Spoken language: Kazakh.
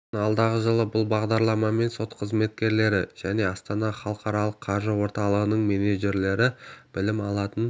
сосын алдағы жылы бұл бағдарламамен сот қызметкерлері және астана халықаралық қаржы орталығының менеджерлері білім алатын